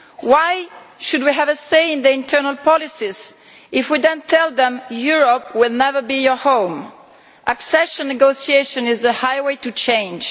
Why should we have a say in Turkey's internal policies if we then tell them that Europe will never be their home? Accession negotiation is the highway to change.